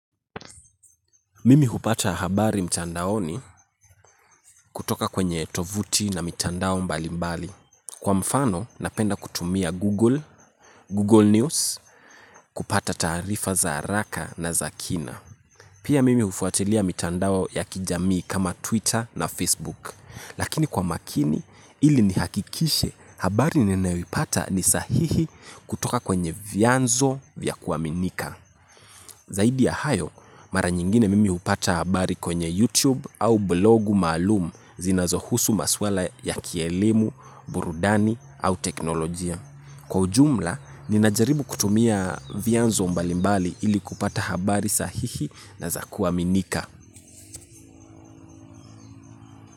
Mimi hupata habari mtandaoni kutoka kwenye tovuti na mitandao mbali mbali. Kwa mfano, napenda kutumia Google, Google News, kupata taarifa za haraka na zakina. Pia mimi hufuatilia mchandao ya kijamii kama Twitter na Facebook. Lakini kwa makini, ili ni hakikishe habari ninayoipata ni sahihi kutoka kwenye vianzo vya kuaminika. Zaidi ya hayo, mara nyingine mimi upata habari kwenye YouTube au blogu maalum zinazohusu maswala ya kielimu, burudani au teknolojia. Kwa ujumla, ninajaribu kutumia vianzo mbalimbali ili kupata habari sahihi na zakuaminika.